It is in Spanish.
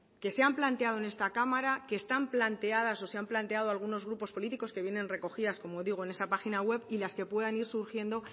que se han planteado en esta cámara que están planteadas o se han planteado algunos grupos políticos que vienen recogidas como digo en esa página web y las que puedan ir surgiendo